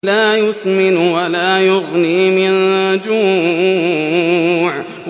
لَّا يُسْمِنُ وَلَا يُغْنِي مِن جُوعٍ